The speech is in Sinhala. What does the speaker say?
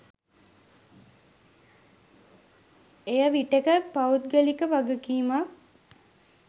එය විටෙක පෞද්ගලික වගකීමක්